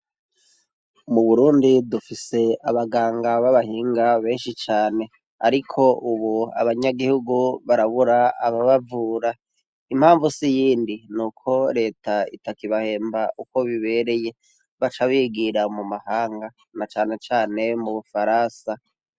Mu Burundi dufise abaganga babahinga benshi cane. Ariko ubu abanyagihugu barabura ababavura. Impamvu si iyindi, nuko reta itakibahemba uko bibereye, baca bigira mu mahanga na cane cane mu Bufaransa.